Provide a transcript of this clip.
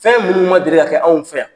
Fɛn minnuw man deli ka kɛ anw fɛ yan.